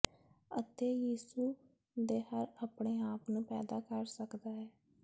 ਅਤੇ ਯਿਸੂ ਦੇ ਹਰ ਆਪਣੇ ਆਪ ਨੂੰ ਪੈਦਾ ਕਰ ਸਕਦਾ ਹੈ